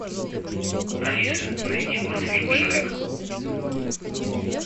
алиса найди мультфильм шрек